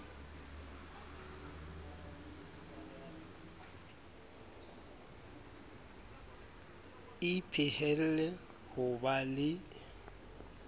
e phehelle ho ba le